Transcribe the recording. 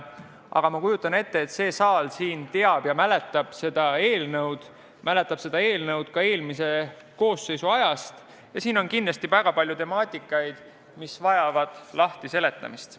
Ma kujutan ette, et see saal mäletab sellesisulist eelnõu ka eelmise koosseisu ajast, siin on kindlasti väga palju teemasid, mis vajavad lahti seletamist.